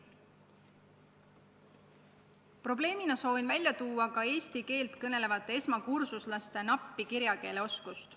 Probleemina soovin välja tuua ka eesti keelt kõnelevate esmakursuslaste nappi kirjakeeleoskust.